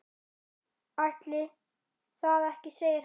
Ætli það ekki segir hann.